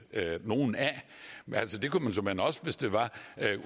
nogen af men altså det kunne man såmænd også hvis det var